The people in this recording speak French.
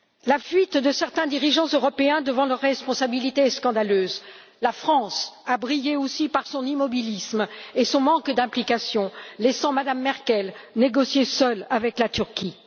La fuite de certains dirigeants européens devant leurs responsabilités est scandaleuse. La France a brillé aussi par son immobilisme et son manque d'implication, laissant Mme Merkel négocier seule avec la Turquie.